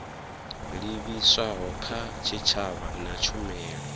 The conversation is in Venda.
livhiswaho kha tshitshavha na tshumelo